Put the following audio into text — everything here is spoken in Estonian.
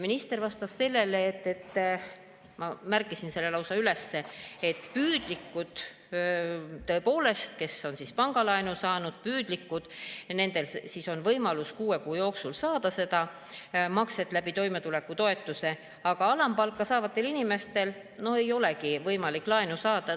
Minister vastas sellele – ma märkisin selle lausa üles –, et püüdlikel, tõepoolest, kes on pangalaenu saanud, on võimalus kuue kuu jooksul saada makset läbi toimetulekutoetuse, aga alampalka saavatel inimestel ei olegi võimalik laenu saada.